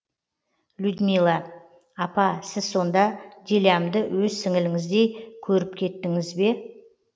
людмила апа сіз сонда дилямды өз сіңліңіздей көріпкеттіңіз бе